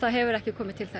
hefur ekki komið til